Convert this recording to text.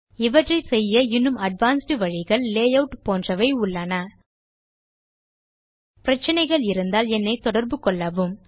இவற்றை செய்ய இன்னும் அட்வான்ஸ்ட் வழிகள் -lay ஆட் போன்றன உண்டு பிரச்சினைகள் இருந்தால் என்னை தொடர்பு கொள்ளவும்